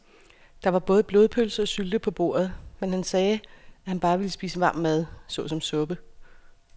Der var både blodpølse og sylte på bordet, men han sagde, at han bare ville spise varm mad såsom suppe.